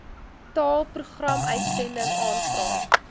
taal programuitsending aanvraag